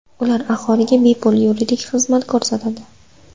Ular aholiga bepul yuridik xizmat ko‘rsatadi.